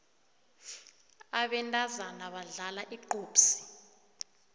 abentazana badlala igqubhsi